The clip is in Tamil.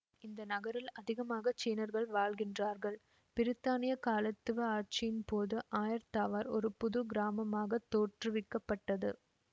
இந்த நகரில் அதிகமாக சீனர்கள் வாழ்கின்றார்கள் பிரித்தானிய காலத்துவ ஆட்சியின் போது ஆயர் தாவார் ஒரு புது கிராமமாகத் தோற்றுவிக்கப் பட்டது